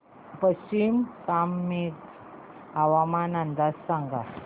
पश्चिम कामेंग हवामान अंदाज सांगा